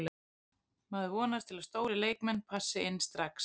Maður vonast til að stórir leikmenn passi inn strax.